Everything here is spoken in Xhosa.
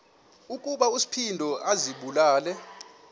ukuba uspido azibulale